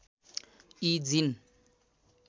यी जीन